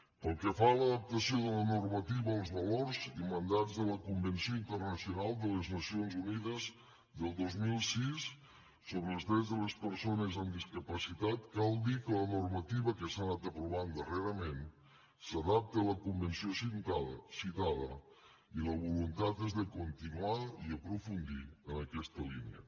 pel que fa a l’adaptació de la normativa als valors i mandats de la convenció internacional de les nacions unides del dos mil sis sobre el drets de les persones amb discapacitat cal dir que la normativa que s’ha anat aprovant darrerament s’adapta a la convenció citada i la voluntat és de continuar i aprofundir en aquesta línia